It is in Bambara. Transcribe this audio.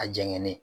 A jɛnkɛnɛ